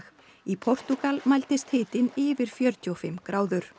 í Portúgal mældist hitinn yfir fjörutíu og fimm gráður